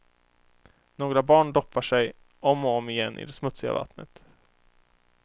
Några barn doppar sig om och om igen i det smutsiga vattnet.